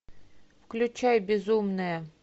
включай безумная